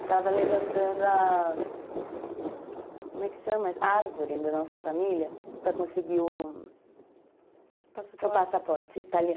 Estava levantando a, como é que chama? A árvore da nossa família para conseguir o passaporte, o passaporte italiano.